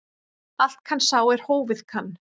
Allt kann sá er hófið kann.